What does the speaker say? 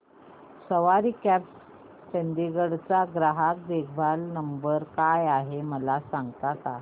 सवारी cabs Chandigarh चा ग्राहक देखभाल नंबर काय आहे मला सांगता का